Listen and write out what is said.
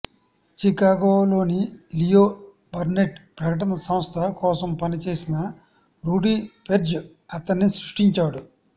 చికాగోలోని Leo Burnett ప్రకటన సంస్థ కోసం పనిచేసిన రూడీ పెర్జ్ అతన్ని సృష్టించాడు